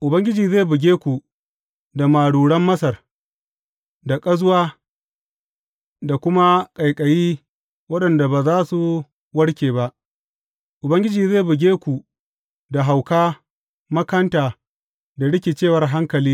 Ubangiji zai buge ku da maruran Masar, da ƙazuwa, da kuma ƙaiƙayi waɗanda ba za su warke ba Ubangiji zai buge ku da hauka, makanta, da rikicewar hankali.